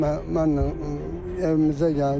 Mən mənlə evimizə gəldi.